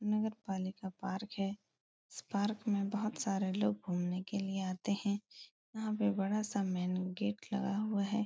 नगरपालिका पार्क है। इस पार्क बहुत सारे लोग घूमने के लिये आते है यहाँ पे बड़ा सा मैंन गेट लगा हुआ है।